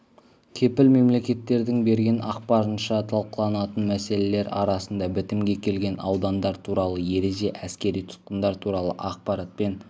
кепіл мемлекеттердің берген ақпарынша талқыланатын мәселелер арасында бітімге келген аудандар туралы ереже әскери тұтқындар туралы ақпаратпен